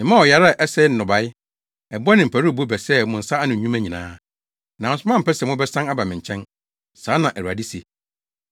Memaa ɔyare a ɛsɛe nnɔbae, ɛbɔ ne mparuwbo bɛsɛee mo nsa ano nnwuma nyinaa. Nanso moampɛ sɛ mobɛsan aba me nkyɛn. Saa na Awurade se.